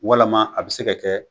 Walama a bɛ se ka kɛ